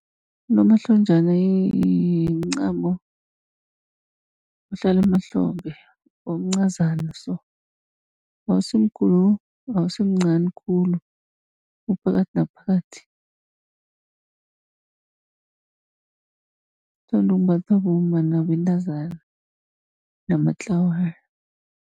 Unomahlonjana mncamo ohlala emahlombe, omncazana so awusimkhulu, awusimncani khulu uphakathi naphakathi. Uthandwa ukumbathwa bomma, nabentazana, namatlawana.